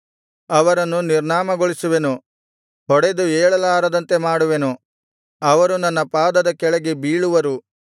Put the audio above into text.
ಅವರನ್ನು ನಿರ್ನಾಮಗೊಳಿಸುವೆನು ಹೊಡೆದು ಏಳಲಾರದಂತೆ ಮಾಡುವೆನು ಅವರು ನನ್ನ ಪಾದದ ಕೆಳಗೆ ಬೀಳುವರು